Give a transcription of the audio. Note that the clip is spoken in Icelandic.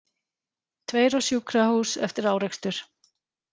Tveir á sjúkrahús eftir árekstur